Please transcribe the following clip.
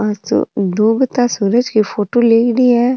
ओ तो डूबता सूरज की फोटो लेयडी है।